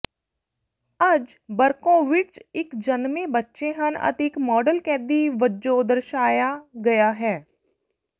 ਅੱਜ ਬਰਕੋਵਿਟਜ ਇੱਕ ਜਨਮੇ ਬੱਚੇ ਹਨ ਅਤੇ ਇੱਕ ਮਾਡਲ ਕੈਦੀ ਵਜੋਂ ਦਰਸਾਇਆ ਗਿਆ ਹੈ